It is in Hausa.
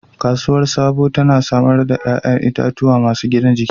Kasuwar Sabo tana samar da 'ƴa'ƴan itatuwa masu gina jiki.